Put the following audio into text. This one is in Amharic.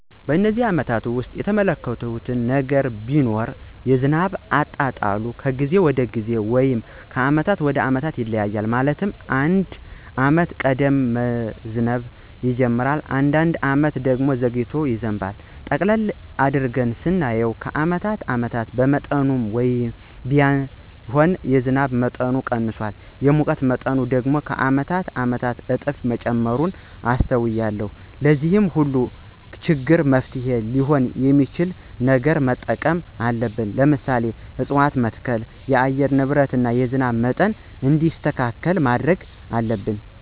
በነዚህ አመታት ውስጥ የተመለከትሁት ነገር ቢኖር የዝናብ አጣጣሉ ከጊዜ ወደ ጊዜ ወይም ከአመት አመት ይለያያል። ማለትም አንዳንድ አመት ቀድሞ መዝነብ ይጅምራል። አንዳንድ አመት ደግሞ ዘግይቶ ይዘንባል። ጠቅለል አድርገን ስናየው ከአመት አመት በመጠኑም ቢሆን የዝናብ መጠኑ ቀንሷል። የሙቀት መጠኑ ደግሞ ከአመት አመት በእጥፍ መጨመሩን አስተውያለሁ። ለዚህ ሁሉ ችግር መፍትሔ ሊሆን የሚችል ነገር መጠቀም አለብን። ለምሳሌ፦ እፅዋትን በመትከል የአየር ንብረትን እና የዝናብ መጠን እንዲስተካከል ማድረግ አለብን።